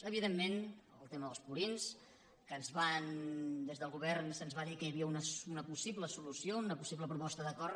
evidentment el tema dels purins que des del govern se’ns va dir que hi havia una possible solució una possible proposta d’acord